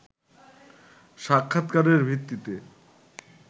সাক্ষাৎকারের ভিত্তিতে